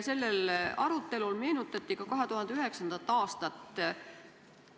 Sellel arutelul meenutati ka 2009. aastat.